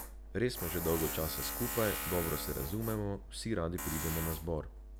Res smo že dolgo časa skupaj, dobro se razumemo, vsi radi pridemo na zbor.